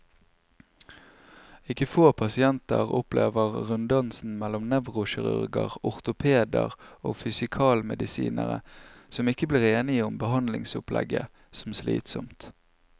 Ikke få pasienter opplever runddansen mellom nevrokirurger, ortopeder og fysikalmedisinere, som ikke blir enige om behandlingsopplegget, som slitsom.